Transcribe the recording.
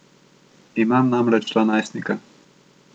Imam namreč dva najstnika.